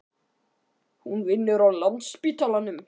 Hún vinnur á Landspítalanum.